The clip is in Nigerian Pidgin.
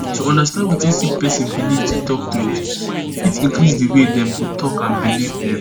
to understand wetin sick person belief to talk truth fit increase di way dem go talk and belief dem